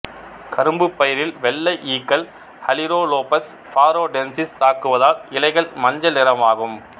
கரும்பு பயிரில் வெள்ளை ஈக்கள் அலிரோலோபஸ் பாரோடென்சிஸ் தாக்குவதால் இலைகள் மஞ்சள் நிறமாகும்